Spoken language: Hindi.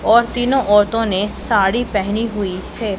और तीनों औरतों ने साड़ी पहनी हुई है।